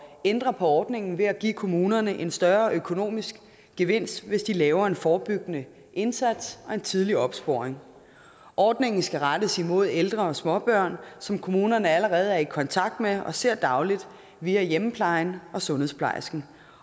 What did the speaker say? ændre på ordningen ved at give kommunerne en større økonomisk gevinst hvis de laver en forebyggende indsats og en tidlig opsporing ordningen skal rettes imod ældre og småbørn som kommunerne allerede er i kontakt med og ser dagligt via hjemmeplejen og sundhedsplejersken